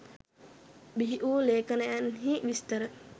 බිහි වූ ලේඛනයන්හි විස්තර